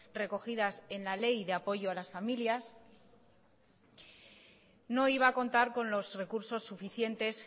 recogidas en la ley de apoyo a las familias no iba a contar con los recursos suficientes